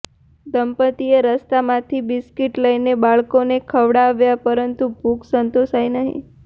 દંપતિએ રસ્તામાંથી બિસ્કિટ લઈને બાળકોને ખવડાવ્યા પરંતુ ભૂખ સંતોષાઈ નહીં